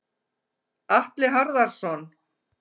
Atli Harðarson.